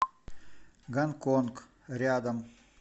гонконг рядом